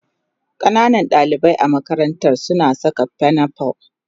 Ƙananan dalibai a makarantar suna saka pinafore